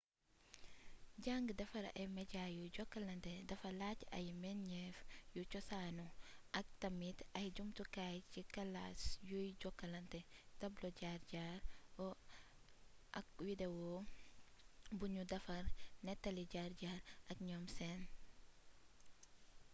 jàng defar ay media yuy jokkalante dafa laaj ay mënef yu cosaanu ak tamit ay jumtukaay ci kalaas yuy jokkalante tablo jaar jaar o oak wdeo bu nu defar nettali jaar jaar ak ñoom seen.